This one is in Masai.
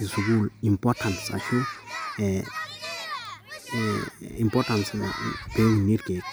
e sukuul importance ashu ee importance pee uni irkeek.